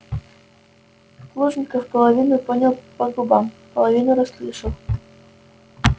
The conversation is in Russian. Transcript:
плужников половину понял по губам половину расслышал